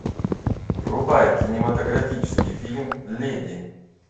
врубай кинематографический фильм леди